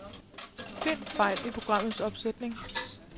Find fejl i programmets opsætning.